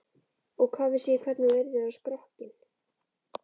Og hvað vissi ég hvernig þú yrðir á skrokkinn.